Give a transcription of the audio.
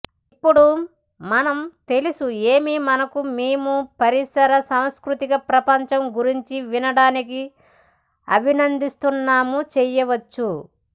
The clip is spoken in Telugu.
ఇప్పుడు మనం తెలుసు ఏమి మరియు మేము పరిసర సాంస్కృతిక ప్రపంచం గురించి వినడానికి అభినందిస్తున్నాము చేయవచ్చు